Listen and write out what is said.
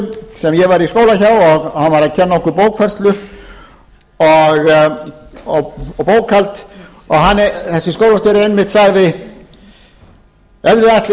einu sinni ágætur skólastjóri sem ég var í skóla hjá og hann var að kenna okkur bókfærslu og bókhald og þessi skólastjóri sagði einmitt ef þið ætlið